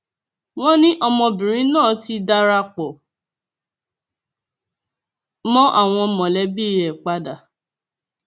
wọn ní ọmọbìnrin náà ti darapọ mọ àwọn mọlẹbí ẹ padà